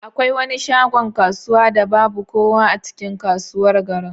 Akwai wani shagon kasuwa da babu kowa a cikin kasuwar garin?